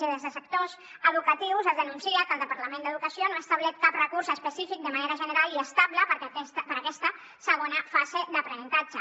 i des de sectors educatius es denuncia que el departament d’educació no ha establert cap recurs específic de manera general i estable per a aquesta segona fase d’aprenentatge